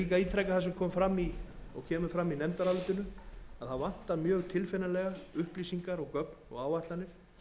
líka ítreka það sem kom fram og kemur fram í nefndarálitinu að mjög tilfinnanlega vantar upplýsingar gögn og áætlanir